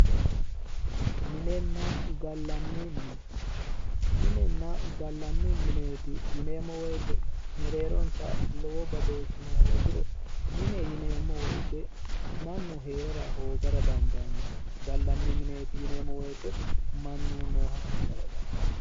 Minenna gallanni mine, minenna gallanni mineeti yineemmo woyte mereeronsa lowo badooshshino hoogiro, mine yineemmo woyte mannu hee'rara hoogara dandaanno, gallanni mine yineemmo woyte mannu nooha ikkara dandaanno.